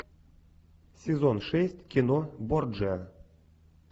сезон шесть кино борджиа